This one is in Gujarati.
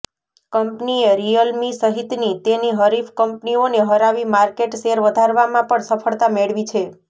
કંપનીએ રીયલમી સહિતની તેની હરીફ કંપનીઓને હરાવી માર્કેટ શેર વધારવામાં પણ સફળતા મેળવી છે